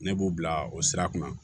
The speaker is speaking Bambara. Ne b'u bila o sira kan